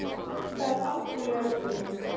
Það er algjörlega útilokað!